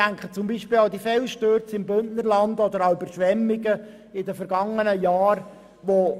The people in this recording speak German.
Denken wir an die Felsstürze im Bündnerland oder an die Überschwemmungen der vergangenen Jahre.